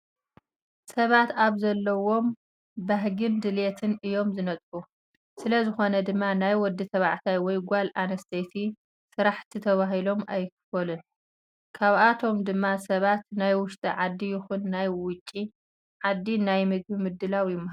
ሰባት ኣብ ዘለዎም ባህግን ድልየትን እዮም ዝነጥፉ። ስለዝኾነ ድማ ናይ ወዲ ተባዕታይ ወይ ጓል ኣንስትየቲ ስራሕቲ ተባሂሎም ኣይክፈሉን። ካብኣቶም ድማ ሰባት ናይ ውሽጢ ዓዲ ይኹን ናይ ውጪ ዓዲ ናይ ምግቢ ምድላው ይመሃሩ።